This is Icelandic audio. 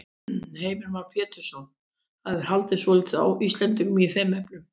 Heimir Már Pétursson: Það hefur hallað svolítið á Íslendinga í þeim efnum?